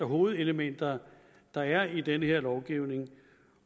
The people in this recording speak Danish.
hovedelementer der er i den her lovgivning